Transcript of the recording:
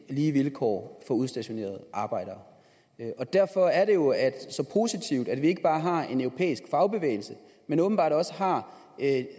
lige vilkår for udstationerede arbejdere derfor er det jo så positivt at vi ikke bare har en europæisk fagbevægelse men åbenbart også har